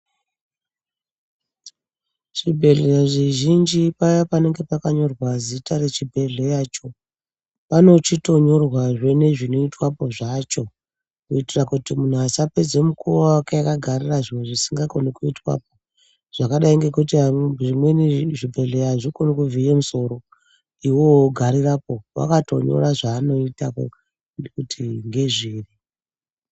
Zvibhedheleya zvizhinji paya panenge pakanyorwa zita rechibhedhleya choo panochitonyorwa zvee nezvinoitwa poo zvacho kuitira kuti muntu asapedza mukuwo wake akagarira zviro zvisingakoni kuitwapo zvakadai ngokuti zvimweni zvibhedhleya hazvikoni kuvhiya musoro iwowo wogarirapo wakatonyora zvavanoita kuti ngezviri.